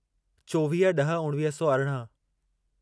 चोवीह ॾह उणिवीह सौ अरिड़हं